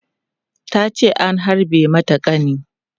Ta ce an harbe mata ƙani.